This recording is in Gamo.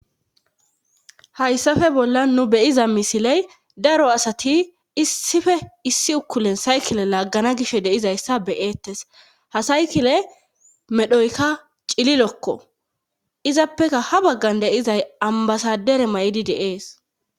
hayssafe bolla nu beyiza misiley daro asati issife issi ukulen saykile laaggana gish deizayssa beyeettes ha saykile medhoykka cililokko izappeka ha baggan deizay ambasadere may7idi de'es